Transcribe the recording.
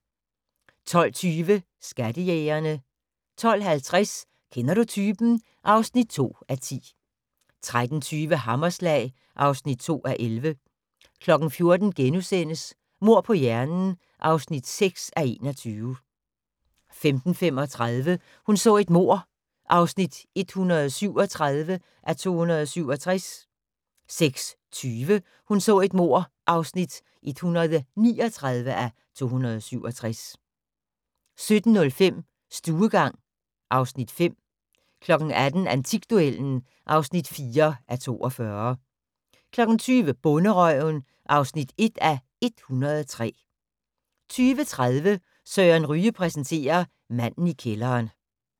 12:20: Skattejægerne 12:50: Kender du typen? (2:10) 13:20: Hammerslag (2:11) 14:00: Mord på hjernen (6:21)* 15:35: Hun så et mord (137:267) 16:20: Hun så et mord (139:267) 17:05: Stuegang (Afs. 5) 18:00: Antikduellen (4:42) 20:00: Bonderøven (1:103) 20:30: Søren Ryge præsenterer: Manden i kælderen